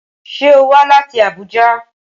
Ṣé o wá láti Abuja?